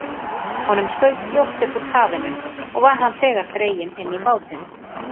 Honum skaut fljótt upp úr kafinu, og var hann þegar dreginn inn í bátinn.